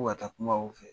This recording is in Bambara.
Ko ka taa kuma u fɛ